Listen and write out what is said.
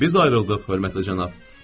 Biz ayrıldıq, hörmətli cənab.